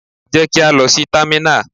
Jẹ́ kí á lọ sí támínà!